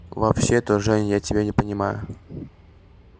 вообще-то жень я тебя не понимаю